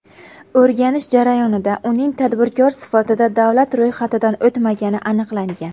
O‘rganish jarayonida uning tadbirkor sifatida davlat ro‘yxatidan o‘tmagani aniqlangan.